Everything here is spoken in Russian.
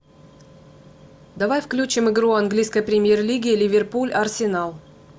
давай включим игру английской премьер лиги ливерпуль арсенал